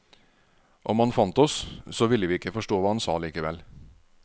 Om han fant oss, så ville vi ikke forstå hva han sa likevel.